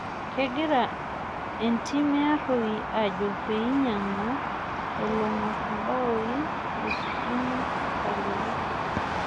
Kegira entim e Arroi ajo peinyang'u olong'or imbaoi le kibini Nkalipo